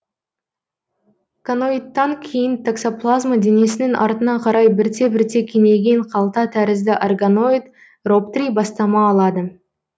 коноидтан кейін токсоплазма денесінің артына қарай бірте бірте кеңейген қалта тәрізді оргоноид роптрий бастама алады